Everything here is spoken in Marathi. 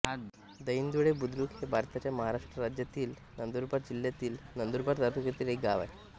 दहिंदुळे बुद्रुक हे भारताच्या महाराष्ट्र राज्यातील नंदुरबार जिल्ह्यातील नंदुरबार तालुक्यातील एक गाव आहे